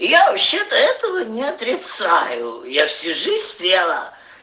я вообще-то этого не отрицаю я всю жизнь стрела